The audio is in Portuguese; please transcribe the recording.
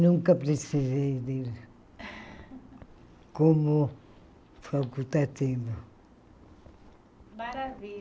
Nunca precisei dele como facultativo.